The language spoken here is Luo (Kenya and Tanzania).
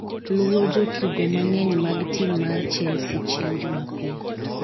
luwo jotugo mang'eny mag tim mar chelsea chieng' jumapil